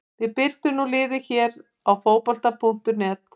Við birtum nú liðið hér á Fótbolta.net.